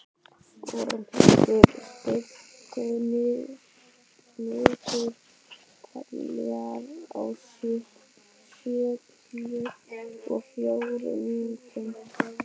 Ormhildur, stilltu niðurteljara á sjötíu og fjórar mínútur.